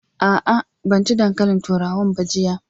A'a, ban ci dankalin turawan ba jiya.